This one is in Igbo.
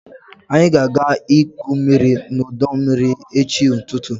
anyị ga-aga igwu mmiri n'ọdọ mmiri echi n'ụtụtụ